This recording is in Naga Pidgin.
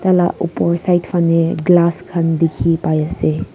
lah opor side fahne glass khan dikhi pai ase.